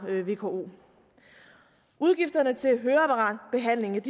vko udgifterne til høreapparatbehandling